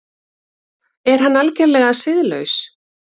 Er hann algerlega siðlaus?